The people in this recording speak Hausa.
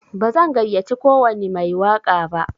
Bazan gayyace kowwani mai waƙa ba.